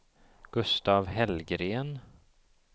Gustaf Hellgren